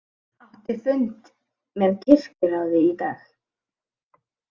Átti fund með kirkjuráði í dag